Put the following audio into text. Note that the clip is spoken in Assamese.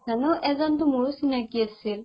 কৈছা ন এজনতো মোৰো চিনাকি আছিল